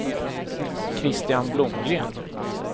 Christian Blomgren